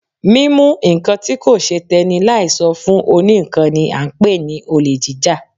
Mímú nǹkan tí kò ṣe tẹ́nì láì sọ fún òní ńkan ni a ń pè ní olè jíjà.